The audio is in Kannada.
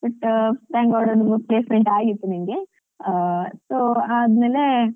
But thank god placement ಆಗಿತ್ತು ನನ್ಗೆ ಆ so ಆದ್ಮೇಲೆ